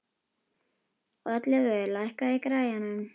Oddleifur, lækkaðu í græjunum.